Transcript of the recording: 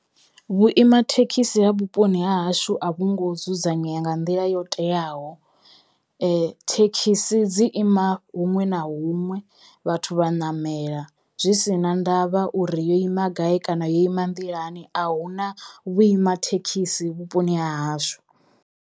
Vhuima thekhisi ha vhuponi ha hashu a vhungo dzudzanyea nga nḓila yo teyaho thekhisi dzi ima huṅwe na huṅwe vhathu vha namela zwi sina ndavha uri yo ima gai kana yo ima nḓilani a huna vhuima thekhisi vhuponi ha hashu.